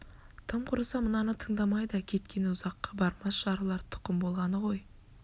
тым құрыса мынаны тындамай да кеткені ұзаққа бармас жарылар тұқым болғаны ғой